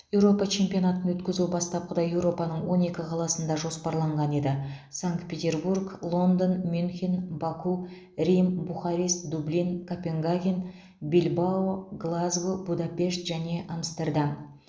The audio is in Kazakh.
еуропа чемпионатын өткізу бастапқыда еуропаның он екі қаласында жоспарланған еді санкт петербург лондон мюнхен баку рим бухарест дублин копенгаген бильбао глазго будапешт және амстердам